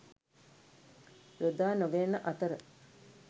යොදානොගැනෙන අතර